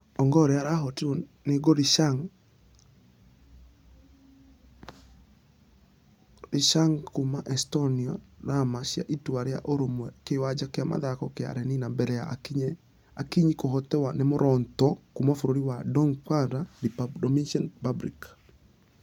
Ongare arahũtirwo nĩ gorishnagq kuuma estoniana qrama cia itua rĩa ũrũmwe kĩwanja gĩa mĩthako gĩa lenina mbere ya akinyi kũhotwi nĩ moronto kuuma bũrũri wa dominicqb republic.